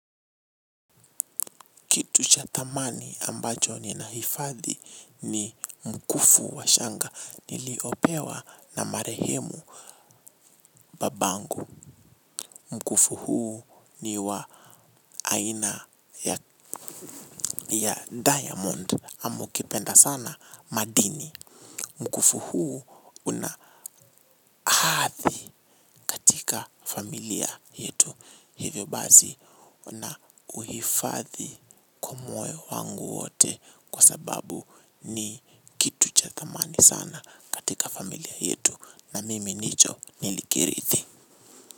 Kitu cha thamani ambacho ninahifadhi ni mkufu wa shanga niliopewa na marehemu babangu mkufu huu ni wa aina ya diamond ama ukipenda sana madini mkufu huu una hadhi katika familia yetu. Hivyo bazi nauhifadhi kwa moyo wangu wote kwa sababu ni kitu cha thamani sana katika familia yetu na mimi nicho nilikirithi.